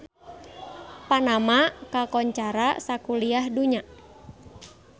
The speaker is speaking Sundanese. Panama kakoncara sakuliah dunya